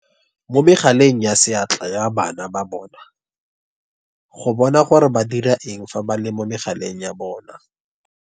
Mo megaleng ya seatla ya bana ba bona go bona gore ba dira eng fa ba le mo megaleng ya bona.